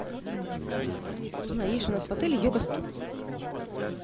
алиса узнай есть ли у нас в отеле йога студия